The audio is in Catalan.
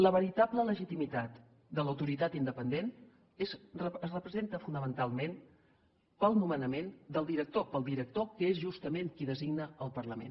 la veritable legitimitat de l’autoritat independent es representa fonamentalment pel nomenament del director pel director que és justament qui designa el parlament